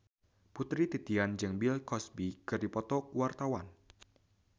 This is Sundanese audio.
Putri Titian jeung Bill Cosby keur dipoto ku wartawan